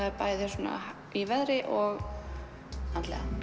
er bæði í veðri og andlega